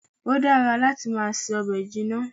Ó dára láti máa se ọbẹ̀ jinna